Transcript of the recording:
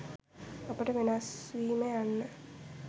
අපට වෙනස්වීම යන්න